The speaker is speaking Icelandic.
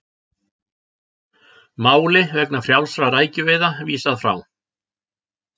Máli vegna frjálsra rækjuveiða vísað frá